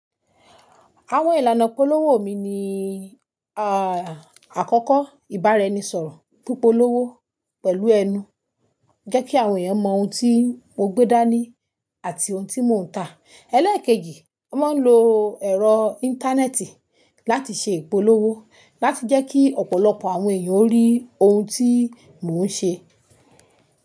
Àwọn ìlànà ìpolówó mi ni, àkọ́kọ́ ìbáraẹnisọ̀rọ̀ fún ìpolówó pẹ̀lú ẹnu jẹ́ kí àwọn èèyàn mọ ohun tí mo gbé dání àti ohun tí mò ń tà. Eléèkejì, mo máa ń lo ẹ̀rọ Íńtánẹ́ẹ̀tì láti ṣe ìpolówó láti jẹ́ kí ọ̀pọ̀lọpọ̀ àwọn èèyàn rí ohun tí mò ń ṣe.